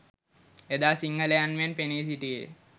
එදා සිංහලයන් මෙන් පෙනී සිටියේ